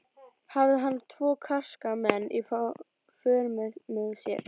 Hafði hann tvo karska menn í för með sér.